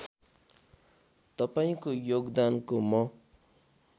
तपाईँको योगदानको म